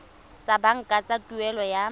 tsa banka tsa tuelo ya